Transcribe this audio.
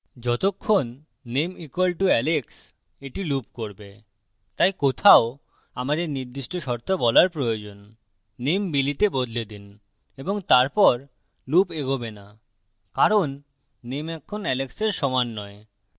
যতক্ষণ name = alex এটি loop করবে তাই কোথাও আমাদের নির্দিষ্ট শর্ত বলার প্রয়োজননেম billy তে বদলে দিন এবং তারপর loop এগোবে না কারণ নেম এখন alex সমান নয়